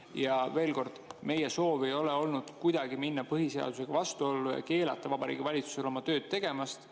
Ja veel kord, meie soov ei ole olnud kuidagi minna põhiseadusega vastuollu, keelata Vabariigi Valitsusel oma tööd tegemast.